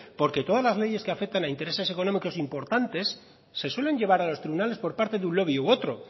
porque todas las leyes que afecta a intereses económicos importantes se suelen llevar a los tribunales por parte de un lobby u otro